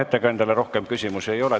Ettekandjale rohkem küsimusi ei ole.